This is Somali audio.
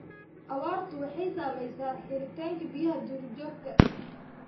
Abaartu waxay saamaysaa helitaanka biyaha duurjoogta.